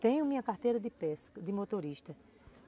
Tenho minha carteira de pesca, de motorista.